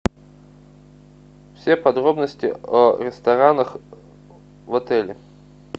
все подробности о ресторанах в отеле